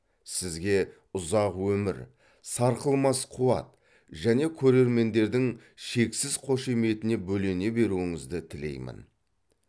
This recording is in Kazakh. сізге ұзақ өмір сарқылмас қуат және көрермендердің шексіз қошеметіне бөлене беруіңізді тілеймін